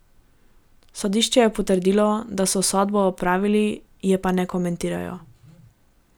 Sodišče je potrdilo, da so sodbo odpravili, je pa ne komentirajo.